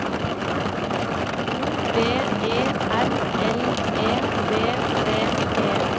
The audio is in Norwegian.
O V E R L E V D E